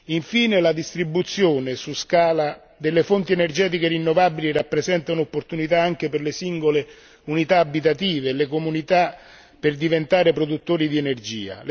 Infine, la distribuzione su scala delle fonti energetiche rinnovabili rappresenta un'opportunità anche per le singole unità abitative e le comunità per diventare produttori di energia.